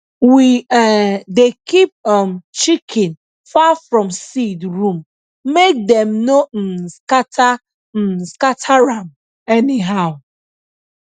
we um dey keep um chicken far from seed room make dem no um scatter um scatter am anyhow